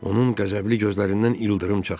Onun qəzəbli gözlərindən ildırım çaxırdı.